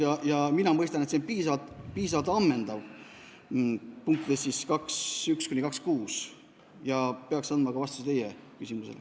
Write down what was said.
Mina saan aru, et punktides 2.1–2.6 on piisavalt ammendav loetelu, mis peaks andma vastuse teie küsimusele.